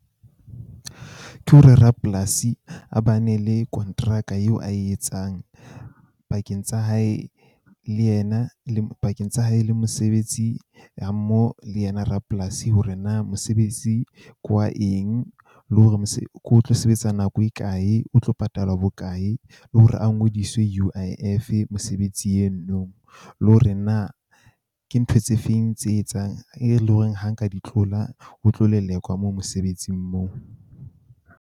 Ke hore rapolasi a ba ne le kontraka eo ae etsang pakeng tsa hae le yena, le pakeng tsa hae, le mosebetsi ha mmoho le yena rapolasi hore na mosebetsi ke wa eng, le hore ko tlo sebetsa nako e kae, o tlo patalwa bokae le hore a ngodiswe U_I_F mosebetsi eno no. Le hore na ke ntho tse feng tse etsang e le ho reng ha nka di tlola, o tlo lelekwa mo mosebetsing moo.